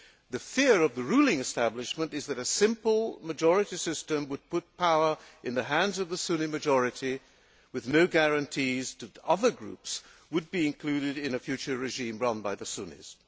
The fear of the ruling establishment is that a simple majority system would put power in the hands of the Sunni majority, with no guarantees that other groups would be included in a future regime run by the Sunnis.